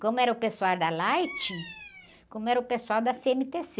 Como era o pessoal da Light, como era o pessoal da cê-eme-tê-cê.